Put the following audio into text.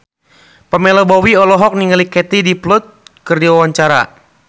Pamela Bowie olohok ningali Katie Dippold keur diwawancara